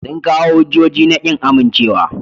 Sun kawo hujjoji na kin amincewa.